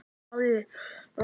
Palli læsir.